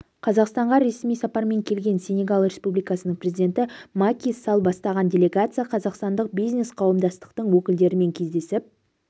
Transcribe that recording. қазақстанға ресми сапармен келген сенегал республикасының президенті маки салл бастаған делегация қазақстандық бизнес қауымдастықтың өкілдерімен кездесіп